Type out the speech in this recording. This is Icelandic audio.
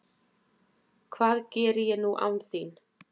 Hvað geri ég nú án þín?